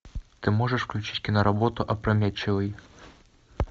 ты можешь включить киноработу опрометчивый